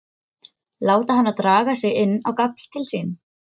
Láta hana draga sig inn á gafl til sín.